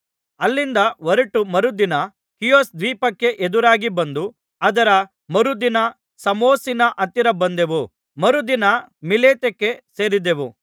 ಅಲ್ಲಿಂದ ಹೊರಟು ಮರುದಿನ ಖೀಯೊಸ್‍ ದ್ವೀಪಕ್ಕೆ ಎದುರಾಗಿ ಬಂದು ಅದರ ಮರುದಿನ ಸಾಮೊಸಿನ ಹತ್ತಿರ ಬಂದೆವು ಮರುದಿನ ಮಿಲೇತಕ್ಕೆ ಸೇರಿದೆವು